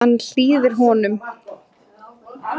Hann hlýðir honum.